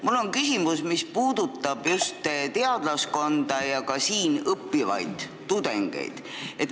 Mul on küsimus, mis puudutab just teadlaskonda ja ka siin õppivaid tudengeid.